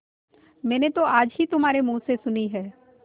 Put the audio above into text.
मैंने तो आज ही तुम्हारे मुँह से सुनी है